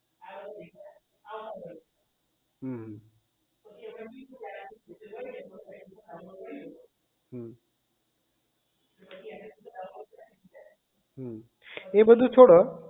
હમ અમ હમ એ બધું છોડો